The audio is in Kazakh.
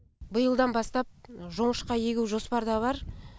биылдан бастап жоңышқа егу жоспарда бар